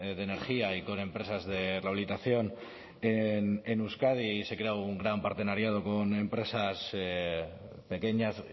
de energía y con empresas de rehabilitación en euskadi y se crea un gran partenariado con empresas pequeñas